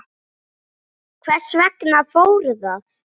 Hvers vegna fór það?